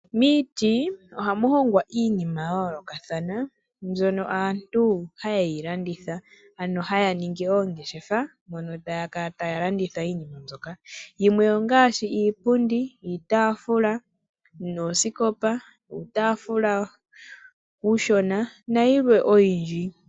Miiti ohamu hongwa iinima ya yoolokathana. Mbyono aantu hayeyi landitha ano haya ningi oongeshefa mono taya kala taya landitha iinima mbyoka. Yimwe ongaashi iipundi, iitaafula , noosikopa, uutaafula uushona nayimwe oyindji.